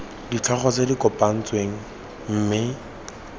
ditlhogo tse di kgaogantsweng mme